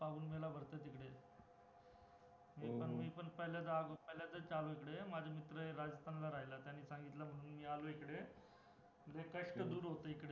पाऊल मेळा भरतो तिकडे पण मी पण पहिल्यांदा च आलो इकडे, माझा मित्र आहे राजस्थान ला राहायला त्यांनी सांगितलं म्हणून मी आलो इकडे लय कष्ट दार होतं इकडे